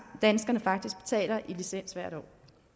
danskerne faktisk betaler i licens hvert år